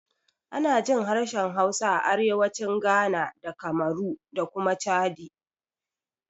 Ana jin harshen Hausa a arewacin Ghana da Kamaru da kuma Chadi.